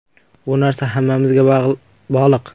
Bu narsa hammamizga bog‘liq.